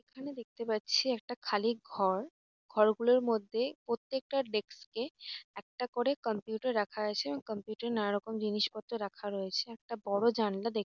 এখানে দেখতে পাচ্ছি একটা খালি ঘর ঘরগুলোর মধ্যে প্রত্যেকটা ডেস্ক এ একটা করে কম্পিউটার রাখা আছে এবং কম্পিউটার এ নানারকম জিনিসপত্র রাখা রয়েছে। একটা বড়ো জানালা দেখ--